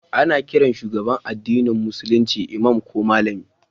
Ana kiran shugaban addinin Musulunci Imam ko Malami